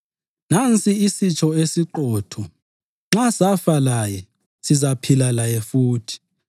Nansi isitsho esiqotho: Nxa safa laye sizaphila laye futhi;